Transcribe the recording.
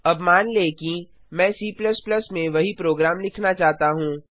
अब मान लें कि मैं C में वही प्रोग्राम लिखना चाहता हूँ